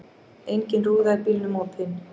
Engin rúða í bílnum opin.